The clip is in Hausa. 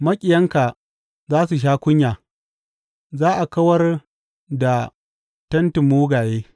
Maƙiyanka za su sha kunya, za a kawar da tentin mugaye.